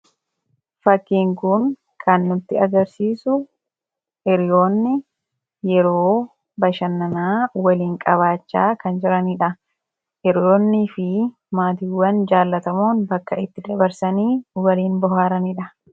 fakkiin kuni kan nutti agarsiisu hiriyoonni yeroo bashannanaa waliin qabaachaa kan jiraniidha hiriyoonnii fi maatiiwwan jaallatamoon bakka itti dabarsanii waliin bohaaraniidha